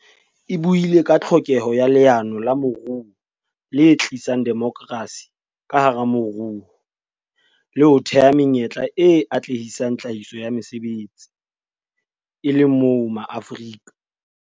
E buile ka tlhokeho ya leano la moruo le tlisang demokrasi ka hara moruo le ho thea menyetla e atlehisang tlhahiso ya mesebetsi, e le moo Maafrika